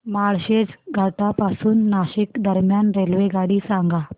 माळशेज घाटा पासून नाशिक दरम्यान रेल्वेगाडी सांगा